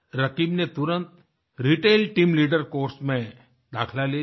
रकीब ने तुरंत retail team leader course में दाखिला ले लिया